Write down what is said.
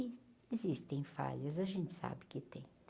E existem falhas, a gente sabe que tem.